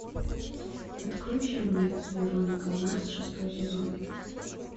открой фильмец вероника марс шестой сезон